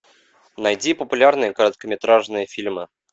найди популярные короткометражные фильмы